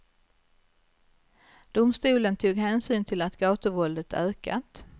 Domstolen tog hänsyn till att gatuvåldet ökat.